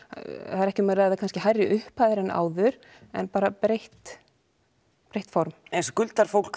það er ekki um að ræða hærri upphæðir en áður en breytt breytt form en skuldar fólk